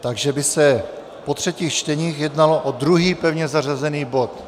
Takže by se po třetích čteních jednalo o druhý pevně zařazený bod.